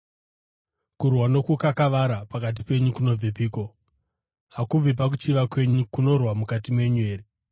Kurwa nokukakavara pakati penyu kunobvepiko? Hakubvi pakuchiva kwenyu kunorwa mukati menyu here?